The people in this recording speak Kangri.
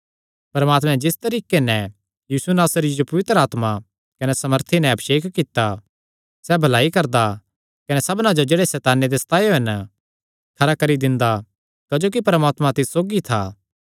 परमात्मैं जिस तरीके नैं यीशु नासरिये जो पवित्र आत्मा कने सामर्थी नैं अभिषेक कित्ता सैह़ भलाई करदा कने सबना जो जेह्ड़े सैताने दे सतायो हन खरा करी दिंदा क्जोकि परमात्मा तिस सौगी था